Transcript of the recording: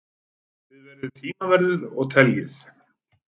Þið verðið tímaverðir og teljið.